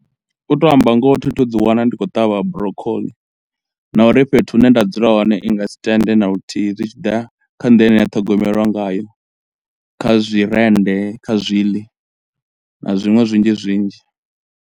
U to amba ngoho thi thu ḓi wana ndi khou ṱavha broccoli na uri fhethu hune nda dzula hone i nga si tende na luthihi zwi tshi ḓa kha nḓila ine ya ṱhogomelwa ngayo kha zwi rennde, kha zwiḽi na zwinwe zwinzhi zwinzhi.